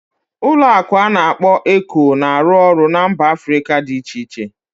Ụlọ akụ ana akpo Eco na-arụ ọrụ na mba Africa dị iche iche